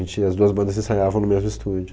E as duas bandas ensaiavam no mesmo estúdio.